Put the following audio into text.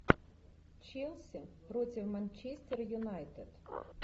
челси против манчестера юнайтед